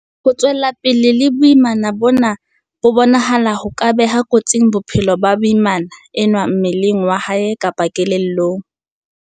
Ho tswela pele le boimana bona ho bonahala ho ka beha kotsing bophelo ba moimana enwa mmeleng wa hae kapa kelellong.